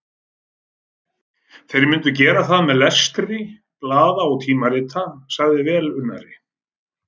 Þeir myndu gera það með lestri blaða og tímarita, sagði velunnari